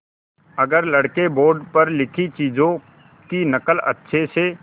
अगर लड़के बोर्ड पर लिखी चीज़ों की नकल अच्छे से